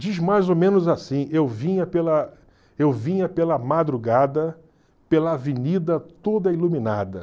Diz mais ou menos assim, eu vinha pela eu vinha pela madrugada, pela avenida toda iluminada.